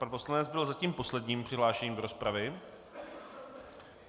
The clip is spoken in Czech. Pan poslanec byl zatím posledním přihlášeným do rozpravy.